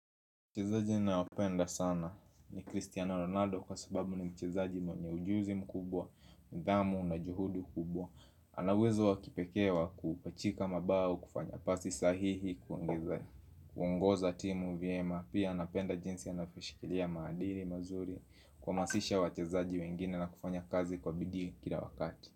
Mchezaji ninaopenda sana ni Cristiano Ronaldo kwa sababu ni mchezaji mwenye ujuzi mkubwa, nidhamu na juhudu kubwa. Ana uwezo wa kipekee wa kupachika mabao, kufanya pasi sahihi kuongoza timu vyema. Pia napenda jinsi anavyoshikilia maadili mazuri, kuhamasisha wachezaji wengine na kufanya kazi kwa bidii kila wakati.